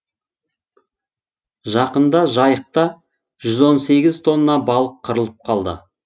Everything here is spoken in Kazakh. жақында жайықта жүз он сегіз тонна балық қырылып қалды